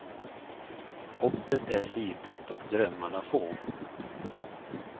Hoppet är litet och drömmarna få.